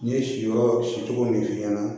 Ne ye siyɔrɔ si cogo min f'i ɲɛna